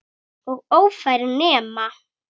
Og ófær nema.